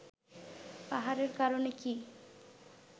পাহাড়ের কারণে কি